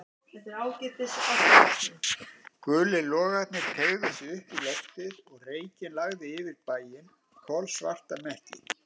Gulir logarnir teygðu sig upp í loftið og reykinn lagði yfir bæinn, kolsvarta mekki.